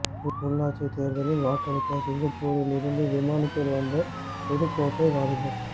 உள்ளாட்சி தேர்தலில் வாக்களிக்க சிங்கப்பூரில் இருந்து விமானத்தில் வந்த புதுக்கோட்டை வாலிபர்